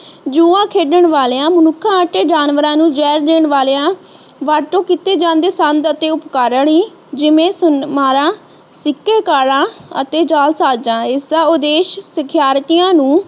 ਜੂਆ ਖੇਡਣ ਵਾਲਿਆਂ ਮਨੁੱਖਾਂ ਅਤੇ ਜਾਨਵਰਾਂ ਨੂੰ ਜ਼ਹਿਰ ਦੇਣ ਵਾਲਿਆਂ ਵਰਤੋਂ ਕੀਤੇ ਜਾਂਦੇ ਸੰਧ ਅਤੇ ਉਪਕਰਣ ਹੀ ਜਿਵੇਂ ਮਾਲਾ ਸਿੱਕੇ ਕਾਰਾ ਅਤੇ ਜਾਲਸਾਜ਼ਾਂ ਇਸ ਦਾ ਉਦੇਸ਼ ਸਿਖਿਆਰਥੀਆਂ ਨੂੰ